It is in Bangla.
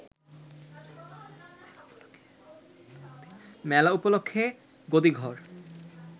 মেলা উপলক্ষে গদিঘর